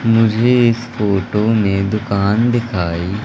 मुझे इस फोटो मैं दुकान दिखाई--